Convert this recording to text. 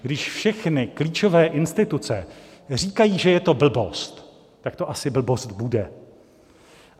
Když všechny klíčové instituce říkají, že je to blbost, tak to asi blbost bude.